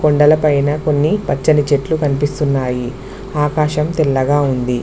కొండల పైన కొన్ని పచ్చని చెట్లు కనిపిస్తున్నాయి ఆకాశం తెల్లగా ఉంది.